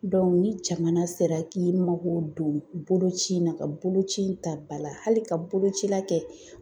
ni jamana sera k'i mako don boloci in na, ka bolo ci in ta ba la hali ka boloci la kɛ.